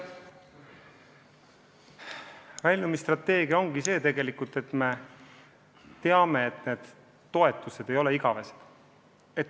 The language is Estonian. Mis puutub väljumisstrateegiasse, siis me teame, et need toetused ei ole igavesed.